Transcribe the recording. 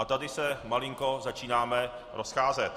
A tady se malinko začínáme rozcházet.